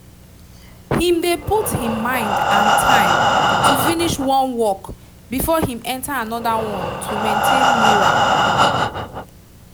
him dey put him mind and time to finish one work before him enter anoda one to maintain mural